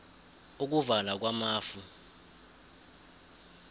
ukuvala kwamafu